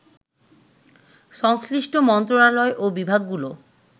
সংশ্লিষ্ট মন্ত্রণালয় ও বিভাগ গুলো